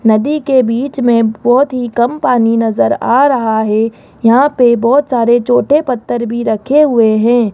नदी के बीच में बहोत ही कम पानी नजर आ रहा है यहां पे बोहोत सारे छोटे पत्थर भी रखें हुए हैं।